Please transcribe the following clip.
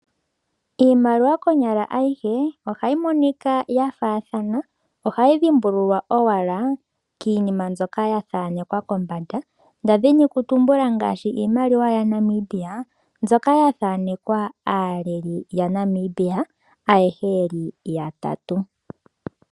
Iimaliwa konyala ayihe ohayi monika yafathana ohayi dhimbululwa owala kiinima zoka ya thanekwa nda dhini kutumbula, ngaashi iimaliwa yaNamibia nzoka ya thanekwa aaleli yaNamibia ayehe yeli ya tatu.